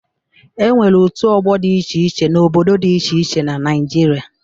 E nwere òtù ọgbọ dị iche iche n'obodo dị iche iche na Naịjirịa.